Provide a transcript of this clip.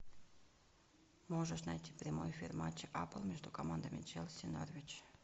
можешь найти прямой эфир матча апл между командами челси и норвич